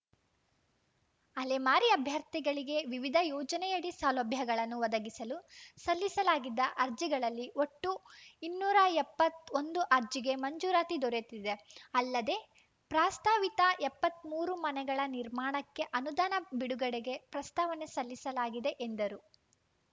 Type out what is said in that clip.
ಅಲೆಮಾರಿ ಅಭ್ಯರ್ಥಿಗಳಿಗೆ ವಿವಿಧ ಯೋಜನೆಯಡಿ ಸೌಲಭ್ಯಗಳನ್ನು ಒದಗಿಸಲು ಸಲ್ಲಿಸಲಾಗಿದ್ದ ಅರ್ಜಿಗಳಲ್ಲಿ ಒಟ್ಟು ಇನ್ನೂರ ಎಪ್ಪತ್ತ್ ಒಂದು ಅರ್ಜಿಗೆ ಮಂಜೂರಾತಿ ದೊರೆತಿದೆ ಅಲ್ಲದೇ ಪ್ರಸ್ತಾವಿತ ಎಪ್ಪತ್ತ್ ಮೂರು ಮನೆಗಳ ನಿರ್ಮಾಣಕ್ಕೆ ಅನುದಾನ ಬಿಡುಗಡೆಗೆ ಪ್ರಸ್ತಾವನೆ ಸಲ್ಲಿಸಲಾಗಿದೆ ಎಂದರು